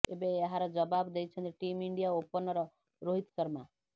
ଏବେ ଏହାର ଜବାବ ଦେଇଛନ୍ତି team India opener Rohit Sharma